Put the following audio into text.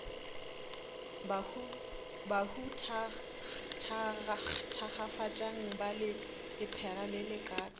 bahu thakgafatšang ba lephera lelekang